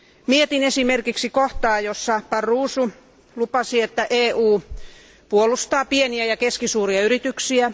Mietin esimerkiksi kohtaa, jossa Barroso lupasi, että EU puolustaa pieniä ja keskisuuria yrityksiä.